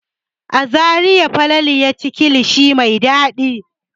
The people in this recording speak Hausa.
A Zariya Falalu ya ci kilishi mai dadi.